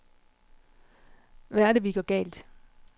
Hvad er det, vi gør galt?